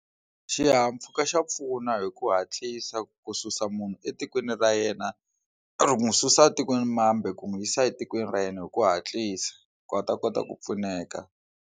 Xihahampfhuka xa pfuna hi ku hatlisa ku susa munhu etikweni ra yena ri n'wi susa ematikweni mambe ku n'wi yisa etikweni ra yena hi ku hatlisa ku a ta kota ku pfuneka.